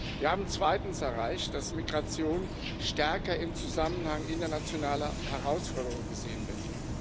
Wir haben zweitens erreicht, dass Migration stärker im Zusammenhang internationaler Herausforderungen gesehen wird.